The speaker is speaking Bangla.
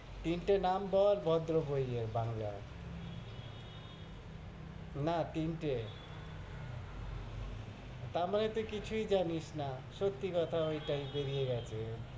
তিনটে নাম বল, ভদ্র বইয়ের, বাংলা না, তিনটে তার মানে তুই কিছুই জানিস না সত্য়ি কথা ওইটাই, বেরিয়ে গেছে,